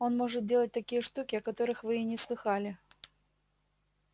он может делать такие штуки о которых вы и не слыхала